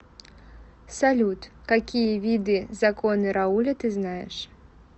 салют какие виды законы рауля ты знаешь